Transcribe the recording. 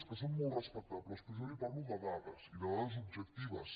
que són molt respectables però jo li parlo de dades i de dades objectives